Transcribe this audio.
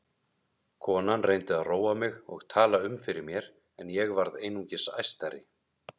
Konan reyndi að róa mig og tala um fyrir mér en ég varð einungis æstari.